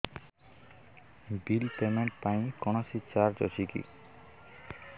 bill payment ପାଇଁ କୌଣସି charge ଅଛି କି